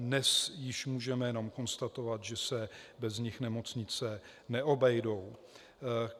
Dnes již můžeme jen konstatovat, že se bez nich nemocnice neobejdou.